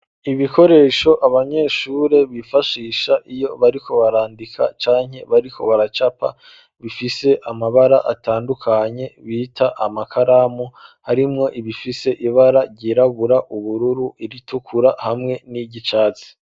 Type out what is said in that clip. Ibikoresho abanyeshuri bifashisha iyo bariko barandika canke bariko baracapa bifise amabara atandukanye bita amakaramu harimwo ibifise ibara ryirabura , ubururu, iritukura hamwe n'iryicatsi.